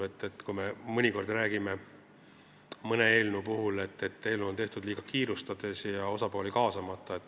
Me räägime mõnikord mõne eelnõu puhul, et see on tehtud liiga kiirustades ja osapooli kaasamata.